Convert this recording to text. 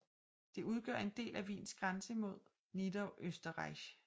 Det udgør en del af Wiens grænse mod Niederösterreich